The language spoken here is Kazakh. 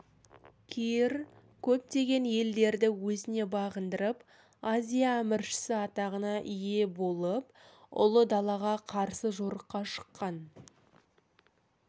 кир көптеген елдерді өзіне бағындырып азия әміршісі атағына ие болып ұлы далаға қарсы жорыққа шыққан